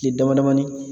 Tile damadamanin